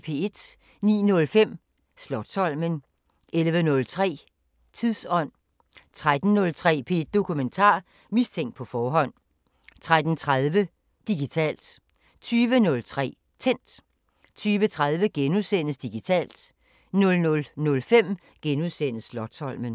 09:05: Slotsholmen 11:03: Tidsånd 13:03: P1 Dokumentar: Mistænkt på forhånd 13:30: Digitalt 20:03: Tændt 20:30: Digitalt * 00:05: Slotsholmen *